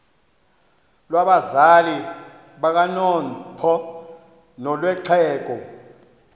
lwabazali bakanozpho nolwexhego